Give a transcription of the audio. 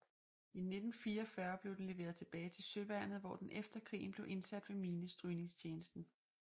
I 1944 blev den leveret tilbage til Søværnet hvor den efter krigen blev indsat ved minestrygningstjenesten